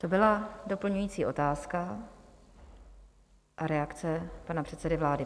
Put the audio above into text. To byla doplňující otázka a reakce pana předsedy vlády.